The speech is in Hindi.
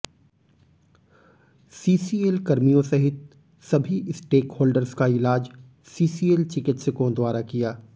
सीसीएल कर्मियों सहित सभी स्टेुकहोल्डेर्स का ईलाज सीसीएल चिकित्स कों द्वारा किया